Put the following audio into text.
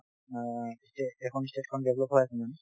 অ ষ্টে এখন state খন মানে develop হৈ আছে